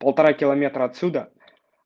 полтора киллометра отсюда